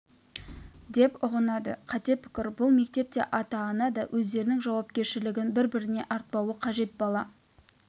деп ұғынады қате пікір бұл мектепте ата-ана да өздерінің жауапкершілігін бір-біріне артпауы қажет бала